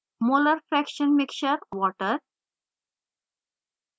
molar fraction mixture/water